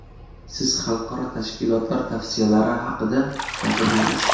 Siz xalqaro tashkilotlar tavsiyalari haqida gapirdingiz.